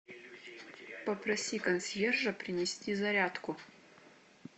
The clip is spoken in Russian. попроси консьержа принести зарядку